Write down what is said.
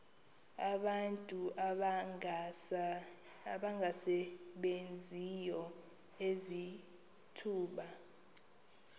abantu abangasebenziyo izithuba